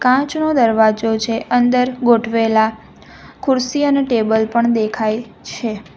કાચનો દરવાજો છે અંદર ગોઠવેલા ખુરશી અને ટેબલ પણ દેખાય છે.